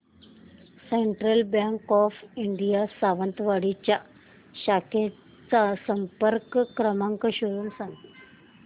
central bank of India Sawantwadi च्या शाखेचा संपर्क क्रमांक शोधून सांग